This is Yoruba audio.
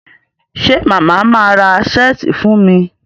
ṣe Mama má rà Ṣẹ́ẹ̀tì fún mí?